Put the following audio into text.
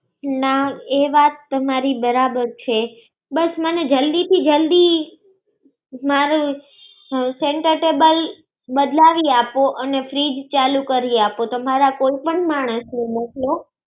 ના એ વાત તમારી બરાબર છે. ના એ વાત તમારી બરાબર છે. બસ મને જલ્દી થી જલ્દી મારુ center table લાવી આપો અને fridge ચાલુ કરી આપો તો ત મારા કોઈ પણ માણસ ને મોકલો.